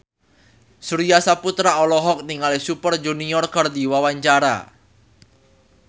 Surya Saputra olohok ningali Super Junior keur diwawancara